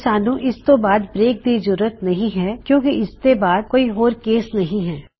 ਤੇ ਸਾੱਨ੍ਹੂ ਇਸ ਤੋ ਬਾਦ ਬ੍ਰੇਕ ਦੀ ਜਰੂਰਤ ਨਹੀ ਹੈ ਕਿੳਂ ਕਿ ਇਸਦੇ ਅੱਗੇ ਕੋਈ ਹੋਰ ਕੇਸ ਨਹੀ ਹੈ